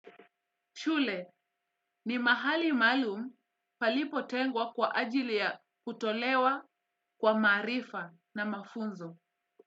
Shule ni mahali maalum palipotengwa kwa ajili ya kutolewa kwa maarifa na mafunzo.